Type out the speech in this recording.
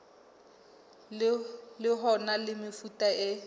ho na le mefuta e